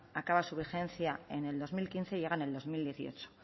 acaba su vigencia en el dos mil quince llega en el dos mil dieciocho